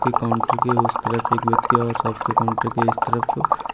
counter की उस तरफ एक व्यक्ति और सबके काउंटर के इस तरफ--